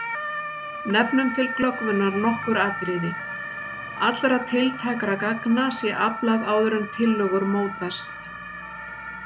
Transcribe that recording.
Nefnum til glöggvunar nokkur atriði: Allra tiltækra gagna sé aflað áður en tillögur mótast.